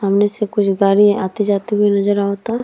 सामने से कुछ गाड़ी आते-जाते भी नज़र आवता।